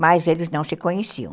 mas eles não se conheciam.